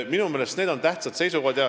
Minu meelest on need tähtsad seisukohad.